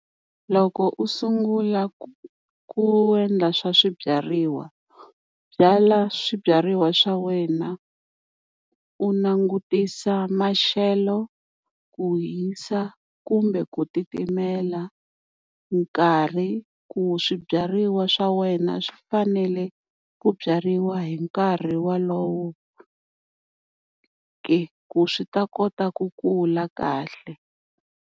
Loko u sungula ku ku endla swa swibyariwa, byala swibyariwa swa wena u langutisa maxelo ku hisa kumbe ku titimela, nkarhi ku swibyariwa swa wena swi fanele ku byariwa hi nkarhi wolowo ke, ku swi ta kota ku kula kahle.